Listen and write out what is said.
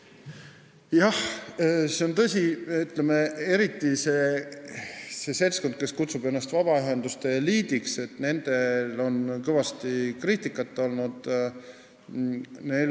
Jah, see on tõsi: eriti sellelt seltskonnalt, kes kutsub ennast vabaühenduste eliidiks, on kõvasti kriitikat olnud.